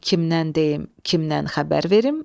kimdən deyim, kimdən xəbər verim?